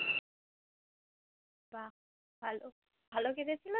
বাহ ভালো । ভালো কিনেছিলে তো